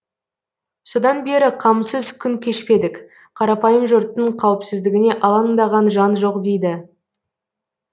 содан бері қамсыз күн кешпедік қарапайым жұрттың қауіпсіздігіне алаңдаған жан жоқ дейді